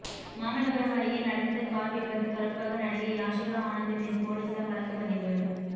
மாமல்லபுரம் அருகே நடந்த கார் விபத்து தொடர்பாக நடிகை யாஷிகா ஆனந்த் மீது போலீசார் வழக்குப்பதிவு